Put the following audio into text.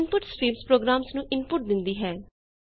input streams programmes ਨੂੰ input ਦਿੰਦੀ ਹੈ